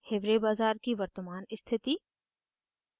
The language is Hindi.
hiware bazar की वर्तमान स्थिति